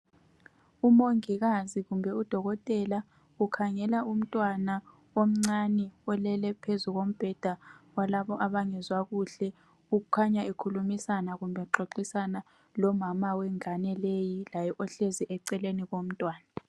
umongikazi kumbe u dokotela ukhangela umntwana omncane olele phezu kombheda walabo abangezwa kuhle okukhanya ekhulumisana kumbe exoxisana lomama wengane leyi laye ohlezi eceleni komntwana